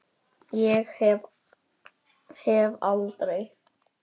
Ég hef aldrei.